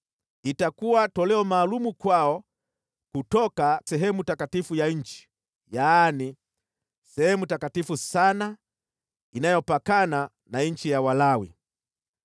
Itakuwa toleo maalum kwao kutoka sehemu takatifu ya nchi, yaani, sehemu takatifu sana, inayopakana na nchi ya Walawi.